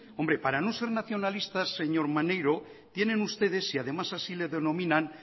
hombre para no ser nacionalistas señor maneiro tienen ustedes y además así le denominan